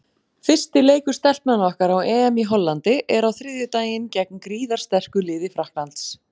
Fyrsti leikur Stelpnanna okkar á EM í Hollandi er á þriðjudaginn gegn gríðarsterku liði Frakklands.